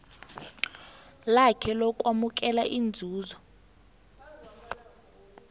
lakhe lokwamukela inzuzo